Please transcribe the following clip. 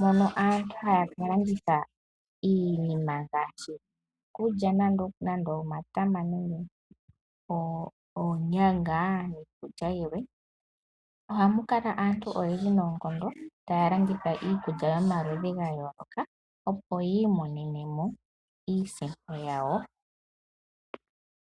mono aantu haya ka landitha iinima ngaashi iikulya nande omatama nenge oonyanga niikulya yilwe . Ohamu kala aantu oyendji noonkondo taya landitha iikulya yomaludhi ga yooloka opo yi imonenemo iisimpo yawo.